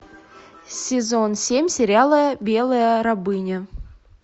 сезон семь сериала белая рабыня